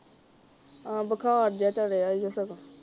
ਅਹ ਬੁਖਾਰ ਜਿਹਾ ਚੜਿਆ ਈ ਸਗੋਂ।